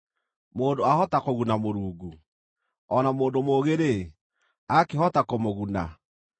“Mũndũ aahota kũguna Mũrungu? O na mũndũ mũũgĩ-rĩ, akĩhota kũmũguna?